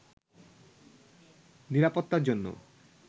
নিরাপত্তার জন্য